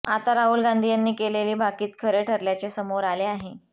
आता राहुल गांधी यांनी केलेले भाकीत खरे ठरल्याचे समोर आले आहे